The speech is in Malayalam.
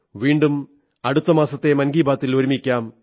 വീണ്ടും അടുത്ത മാസത്തെ മൻകീ ബാത്തിൽ ഒരുമിക്കാം